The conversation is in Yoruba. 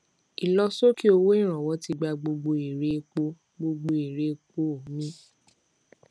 ìlọ sókè owó ìrànwọ ti gbà gbogbo èrè epo gbogbo èrè epo mì